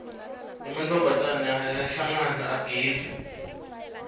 ematfombatane ayahlangana agidze